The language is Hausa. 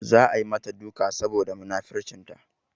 Za a yi mata duka saboda munafurcinta.